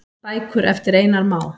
Bækur eftir Einar Má.